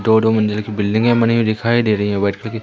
दो दो मंजिल की बिल्डिंग यहां बनी हुई दिखाई दे रही है